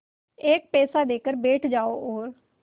एक पैसा देकर बैठ जाओ और